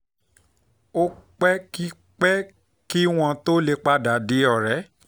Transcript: ó pẹ́ kí pẹ́ kí wọ́n tó lè padà di ọ̀rẹ́